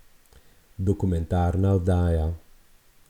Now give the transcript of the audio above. Dokumentarna oddaja.